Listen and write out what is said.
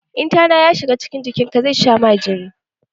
In tana ya shiga cikin jikin ka zai sha ma jini